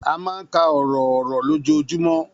A máa ń ka ọ̀rọ̀ ọ̀rọ̀ lójoojúmọ́